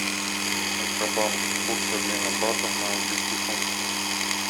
центробанк курс обмена бата на английский фунт